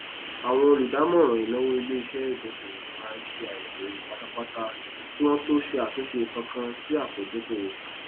àwọn olùdájọọràn ìnáwó iléiṣẹ ìdókòwò máa ń ṣe àyẹwò ewu pátápátá kí wọn tó ṣe àtúnṣe kankan sí apòdókòwò